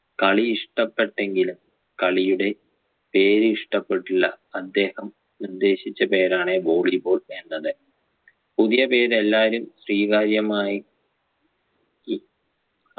കളി ഇഷ്ടപ്പെട്ടെങ്കിലും കളിയുടെ പേര് ഇഷ്ടപ്പെട്ടില്ല അദ്ദേഹം ഉദ്ദേശിച്ച പേരാണ് volley ball എന്നത് പുതിയ പേര് എല്ലാരും സ്വീകാര്യമായി